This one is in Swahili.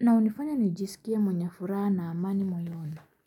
na hunifanya nijisikie mwenye furaha na amani moyoni.